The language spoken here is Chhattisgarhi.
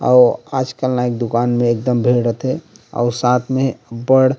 अऊ आजकल नाई क दुकान मे एकदम भीड़ रईथे अऊ साथ मे अब्बड़--